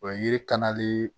O ye yiri kanle